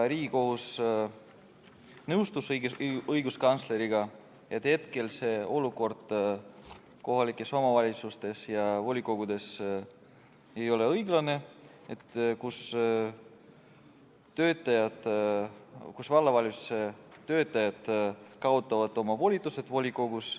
Riigikohus nõustus õiguskantsleriga, et olukord kohalikes omavalitsustes ja volikogudes ei ole õiglane, sest vallavalitsuse töötajad kaotavad oma volitused volikogus.